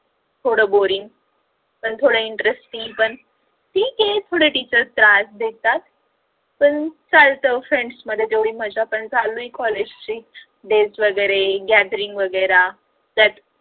थोड boring पण थोड interesting पण ठीक आहे थोड teachers त्रास देतात पण चालत friends मध्ये तेवढी मज्जा पण चालू आहे college चे days वेगेरे gathering वेगेरा